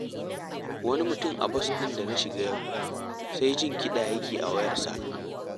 Wani mutum a bas ɗin da na shiga yau, sai jin kiɗa yake yi a wayarsa